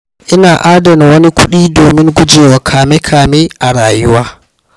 Ina adana wani kuɗi domin guje wa kame-kame a rayuwa.